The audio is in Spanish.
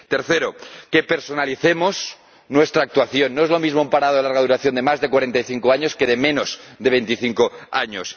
tercero, que personalicemos nuestra actuación no es lo mismo un parado de larga duración de más de 45 años que de menos de 25 años